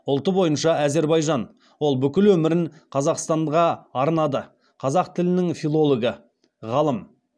ұлты бойынша әзірбайжан ол бүкіл өмірін қазақстанға арнады қазақ тілінің филологі ғылым